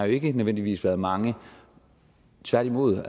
ikke nødvendigvis været mange tværtimod